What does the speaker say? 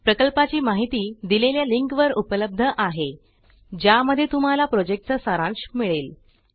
प्रकल्पाची माहिती दिलेल्या लिंक वर उपलब्ध आहेज्या मध्ये तुम्हाला प्रोजेक्टचा सारांश मिळेल